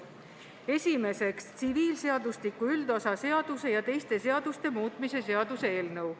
Esiteks, tsiviilseadustiku üldosa seaduse ja teiste seaduste muutmise seaduse eelnõu.